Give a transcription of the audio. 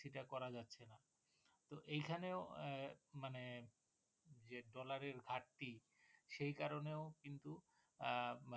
সেটা করা যাচ্ছে না তো এখানেও মানে যে Dollar এর ঘাটতি সে কারনেও কিন্তু আহ